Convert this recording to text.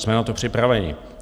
Jsme na to připraveni.